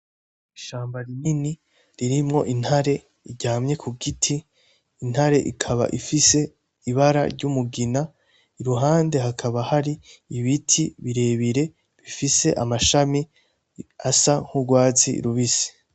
Ishamba rinini ririmwo intare iryamye ku giti intare ikaba ifise ibara ry'umugina iruhande hakaba hari ibiti birebire bifise amashami asa nk'urwatsi rubisi.